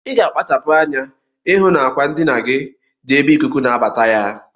Iga akpachapu anya ihu na akwa ndinagi di ebe ikuku nabata ya.